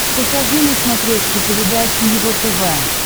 покажи на смотрешке передачу его тв